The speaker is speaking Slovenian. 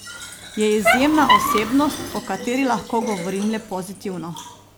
Je izjemna osebnost, o kateri lahko govorim le pozitivno.